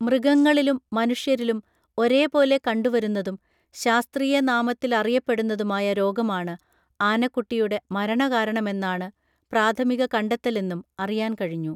മൃഗങ്ങളിലും മനുഷ്യരിലും ഒരേപോലെ കണ്ടുവരുന്നതും ശാസ്ത്രീയ നാമത്തിലറിയപ്പെടുന്നതുമായ രോഗമാണ് ആനക്കുട്ടിയുടെ മരണകാരണമെന്നാണ് പ്രാഥമിക കണ്ടെത്തലെന്നും അറിയാൻ കഴിഞ്ഞു